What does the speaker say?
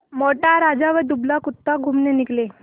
मोटा राजा व दुबला कुत्ता घूमने निकले